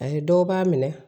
Ani dɔw b'a minɛ